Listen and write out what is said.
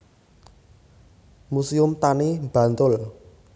Muséum Tani Bantul